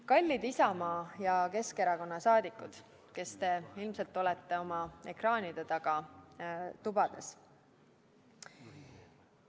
Kallid Isamaa ja Keskerakonna liikmed, kes te ilmselt olete oma ekraanide taga tubades!